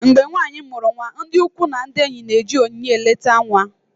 mgbe nwanyị mụrụ nwa, ndị ikwu na ndị enyi na-eji onyinye eleta nwa